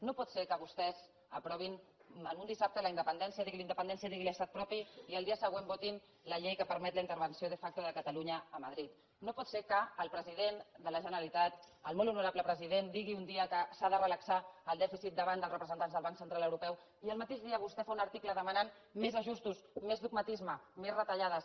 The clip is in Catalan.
no pot ser que vostès aprovin un dissabte la independència diguin ne independència diguin ne estat propi i el dia següent votin la llei que permet la intervenció de factoque el president de la generalitat el molt honorable president digui un dia que s’ha de relaxar el dèficit davant dels representants del banc central europeu i el mateix dia vostè faci un article en què demana més ajustos més dogmatisme més retallades